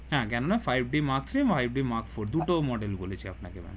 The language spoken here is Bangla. হ্যাঁ Canon five d mark three five d mark four দুটো model বলেছি আপনাকে